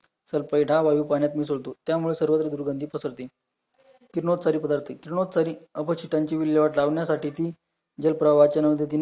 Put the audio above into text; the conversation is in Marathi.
सल्फेट हा वायू पाण्यात मिसळतो, त्यामुळे सर्वत्र दुर्गंधी पसरते, किरणोत्सारी पदार्थ किरणोत्सारी अपचीतांची विल्लेवाट लावण्यासाठी ती जलप्रवाहाचाना गतीने